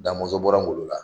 Damɔzɔn bɔra Ngolo la